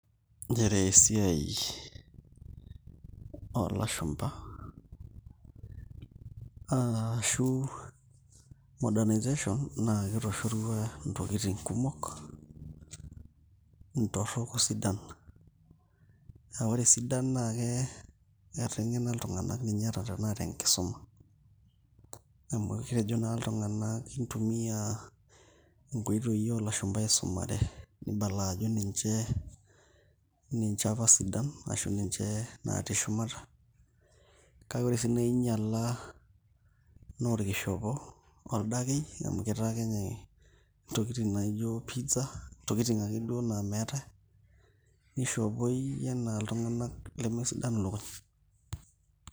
Nchere esiai, oolashumpa aashu modernization naa ketoshorua ntokitin kumok, ntorok o sidan, aa ore sidan naa ketengena iltunganak ata tena tenkisuma, amu kitejo naa iltunganak kintumia inkoitoi oolashumpa aisumare, nibala ajo ninche apa sidan ashu ninche natii shumata kake ore sii ningiala anaa orkishopo, oldakei, amu etaa kenyae ntokitin naijo pizza ntokitin ake duo naijo duo naa meetae nishopoi anaa iltunganak lemesidan ilukuny.